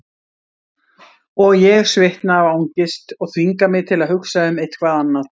Og ég svitna af angist og þvinga mig til að hugsa um eitthvað annað.